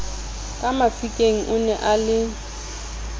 ka mafikeng one a le